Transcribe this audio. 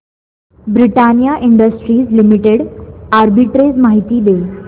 Britannia industries limited arbitrage माहिती दे